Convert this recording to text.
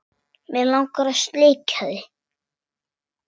Mig langar að sleikja þig.